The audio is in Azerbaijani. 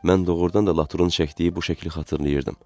Mən doğrudan da Latrun çəkdiyi bu şəkli xatırlayırdım.